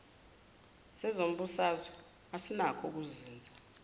sezombusazwe asinakho ukuzinza